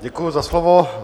Děkuju za slovo.